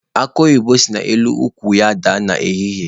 Akụ oyibo si n'elu ukwu ya daa n'ehihie.